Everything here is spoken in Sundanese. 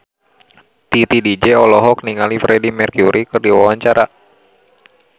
Titi DJ olohok ningali Freedie Mercury keur diwawancara